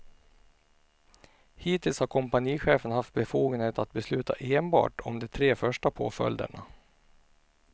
Hittills har kompanichefen haft befogenhet att besluta enbart om de tre första påföljderna.